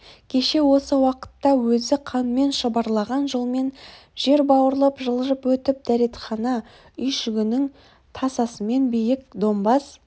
кеше осы уақытта өзі қанмен шұбарлаған жолмен жер бауырлап жылжып өтіп дәретхана үйшігінің тасасымен биік домбаз